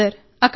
అవును సార్